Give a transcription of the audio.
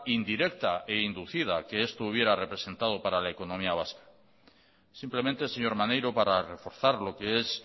indirecta e inducida que esto hubiera representado para la economía vasca simplemente señor maneiro para reforzar lo que es